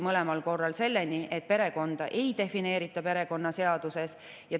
Mõlemal korral jõuti selleni, et perekonda perekonnaseaduses ei defineerita.